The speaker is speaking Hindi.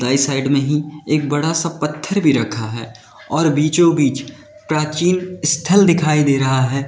साइड में ही एक बड़ा सा पत्थर भी रखा है और बीचों बीच प्राचीन स्थल दिखाई दे रहा है।